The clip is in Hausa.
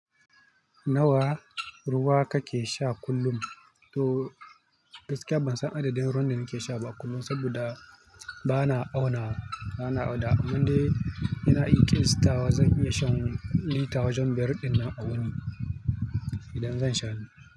Nawa ruwa kake sha kullum? To gaskiya ban san adadin ruwan da nake sha ba kullum, saboda ba na auna wa. Amma dai inna iya kiyastawa, zan iya shan lita wajen biyar ɗinnan awuni idan zan sha.